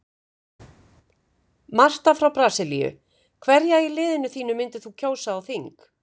Marta frá Brasilíu Hverja í liðinu þínu myndir þú kjósa á þing?